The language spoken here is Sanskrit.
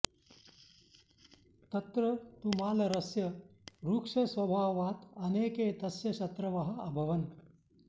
तत्र तु मालरस्य रुक्षस्वभावात् अनेके तस्य शत्रवः अभवन्